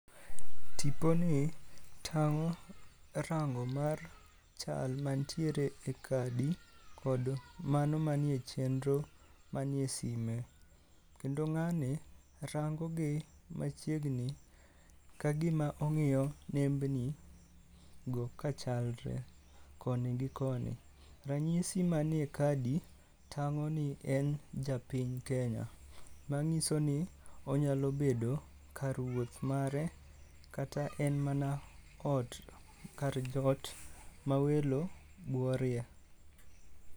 Tiponi tang'o rango mar chal mantiere e kadi, kod mano manie chenro manie sime. Kendo ng'ani rango gi machiegni kagima ong'iyo nembni go kachalre, koni gi koni. Ranyisi manie kadi tang'o ni en japiny Kenya. Mang'iso ni onyalo bedo kar wuoth mare kata en mana ot, kar jot ma welo buorie.